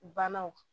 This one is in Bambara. Bannaw